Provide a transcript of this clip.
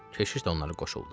Keşiş də onlara qoşuldu.